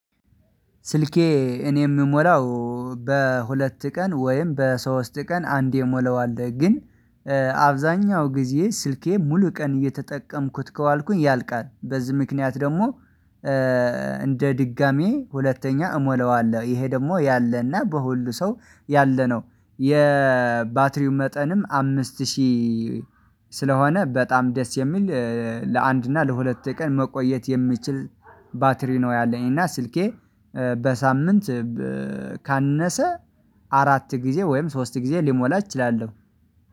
ስልኬ እኔ የምሞላው በሁለት ቀን ወይም በሶስት ቀን አንዴ ሞላዋለሁ። ግን አብዛኛው ጊዜ ስልኬ ሙሉ ቀን እየተጠቀምኩት ከዋልኩኝ ያልቃል። በዚህ ምክንያት ደግሞ። እንደ ድጋሚ ሁለተኛ እሞላዋለሁ ይሄ ደግሞ ያለና በሁሉ ሰው ያለነው የባትሪው መጠንም አምስት ሺህ። ስለሆነ በጣም ደስ የሚል ለአንድ እና ለሁለት ቀን መቆየት የሚችል ባትሪ ነው ያለኝ። እና ስልኬ በሳምንት ካነሰ አራት ጊዜ ወይም ሶስት ጊዜ ልሞላ እችላለሁ